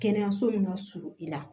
Kɛnɛyaso min ka surun i la